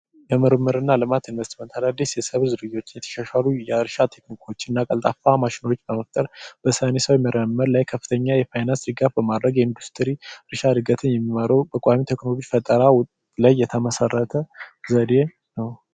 በምርምርና ጥናት ኢንቨስትመንት አዳዲስ በብዙ የተሻሻሉ የእርሻ ቴክኒኮች ቀልጣፋ ማሽኖችን በመፍጠር በሳይንሳዊ መንገድ ላይ ከፍተኛ የፋይናንስ ድጋፍ በማድረግ የእርሻ እድገትን የሚመሩ ሙከራ ላይ የተመሰረተ ዘዴ ነው።